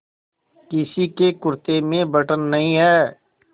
किसी के कुरते में बटन नहीं है